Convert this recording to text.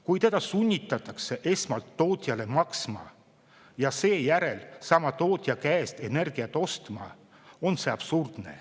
Kui teda sunnitakse esmalt tootjale maksma ja seejärel sama tootja käest energiat ostma, on see absurdne.